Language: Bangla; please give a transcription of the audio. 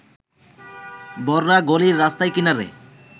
বড়রা গলির রাস্তার কিনারে